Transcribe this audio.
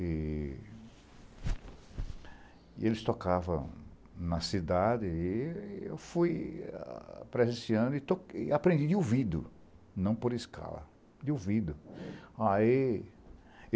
E eles tocavam na cidade e eu fui para esse ano e aprendi de ouvido, não por escala, de ouvido.